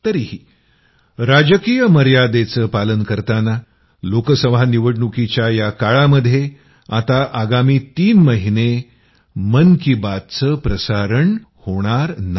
तरीही राजकीय मर्यादेचं पालन करताना लोकसभा निवडणुकीच्या या काळामध्ये आता आगामी तीन महिने मन की बात चं प्रसारण होणार नाही